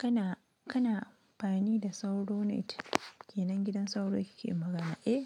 Kana, kana amfani da sauro net? Kenan gidan sauro kike magana? Eh,